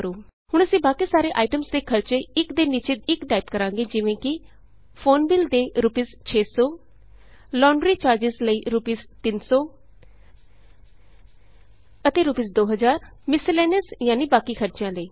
ਹੁਣ ਅਸੀਂ ਬਾਕੀ ਸਾਰੇ ਆਈਟਮਸ ਦੇ ਖਰਚੇ ਇਕ ਦੇ ਨੀਚੇ ਇਕ ਟਾਈਪ ਕਰਾਂਗੇ ਜਿਵੇਂ ਕਿ ਫੋਨ ਬਿੱਲ ਦੇ ਰੂਪੀਸ 600 ਲੌਂਡਰੀ ਚਾਰਜਿਜ਼ ਲਈ ਰੂਪੀਸ 300 ਅਤੇ ਰੂਪੀਸ 2000 ਮਿਸਲੇਨੀਅਸ ਯਾਨੀ ਬਾਕੀ ਖਰਚਿਆਂ ਲਈ